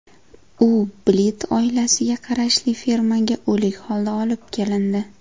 U Blit oilasiga qarashli fermaga o‘lik holda olib kelindi.